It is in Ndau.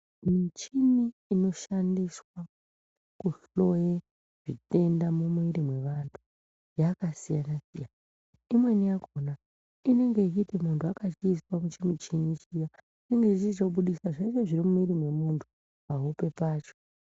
Michini inoshandiswa kuhloye zvitenda mumwiri mwevantu yakasiyana siyana imweni yakona inenge ichiti muntu akachiiswa muchimuchini chiya inenge ichichitobudisa zvese zviri mumwiri memuntu pahope pacho.